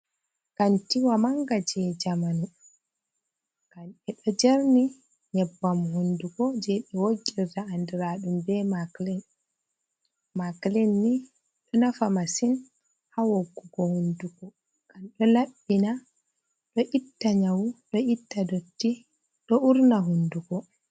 Kantiwa mannga jey jamanu, ɓe ɗo jerni nyebbam hunnduko jey ɓe woggirta andiraaɗum be maklin, maklin ni ɗo nafa masin haa woggugo hunnduko ngam ɗo laɓɓina, ɗo itta nyawu, ɗo itta dotti, ɗo uurna hunnduko.